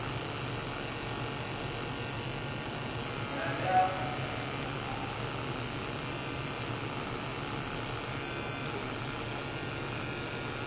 mirado ya phanele na muhasho